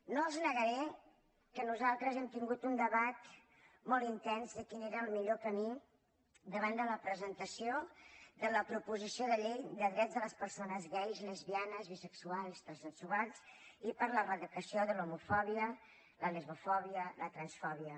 no els negaré que nosaltres hem tingut un debat molt intens de quin era el millor camí davant de la presentació de la proposició de llei de drets de les persones gais lesbianes bisexuals i transsexuals i per l’eradicació de l’homofòbia la lesbofòbia la transfòbia